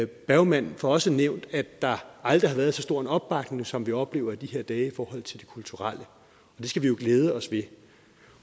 bergman får også nævnt at der aldrig har været så stor en opbakning som vi oplever i de her dage i forhold til det kulturelle det skal vi jo glæde os ved